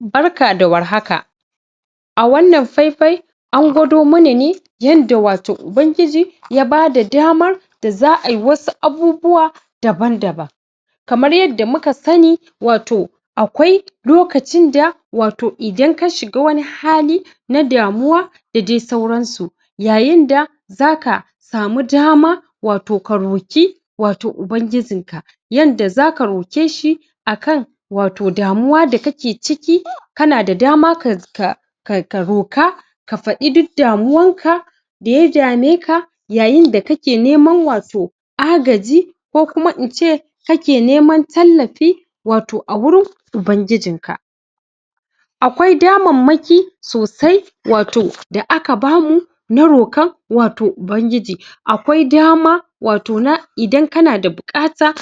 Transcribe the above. barka da warhaka a wannan faifayi an gwado mana ne yanda wato Ubangiji ya bada damar da za'ayi wasu abubuwa daban daban kamar yanda muka sani wato akwai lokacinda wato idan kashiga wani hali na damuwa da dai sauransu yayinda zaka samu dama wato karoki wato Ubangijinka yanda zaka rokeshi akan wato damuwa da kake ciki kanada dama kas ka ka ka roka kafadi duk damuwanka daya dameka yayin da kake neman wato agaji ko kuma ince kake neman tallafi wato awurin Ubangijinka akwai damammaki sosai wato da aka bamu na rokan wato Ubangiji akwai dama wato na idan kanada bukata